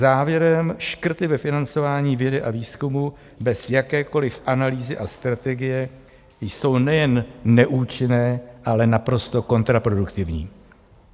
Závěrem, škrty ve financování vědy a výzkumu bez jakékoliv analýzy a strategie jsou nejen neúčinné, ale naprosto kontraproduktivní.